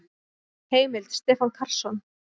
Heimild: Stefán Karlsson.